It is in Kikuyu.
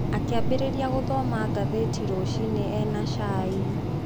Akĩambĩrĩria gũthoma ngathĩti ya rũcinĩ e na cai.